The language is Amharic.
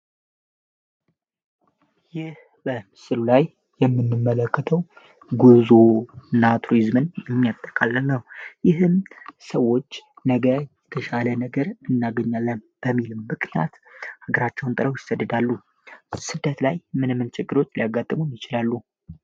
ይህ በምስሉ ላይ የምንመለከተው ጉዞ እና ቱሪዝምን የሚያጠቃልል ነው። ይህም ሰዎች ነገ የተሻለ ነገር እናገኛለን በሚል ምክንያት ሀገራቸውን ለቀው ይሰደዳሉ። ስደት ላይ ምን ምን ችግሮች ሊያጋጥሙ ይችላሉ?